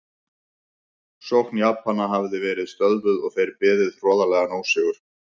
Sókn Japana hafði verið stöðvuð og þeir beðið hroðalegan ósigur.